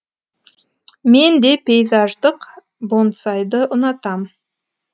мен де пейзаждық бонсайды ұнатам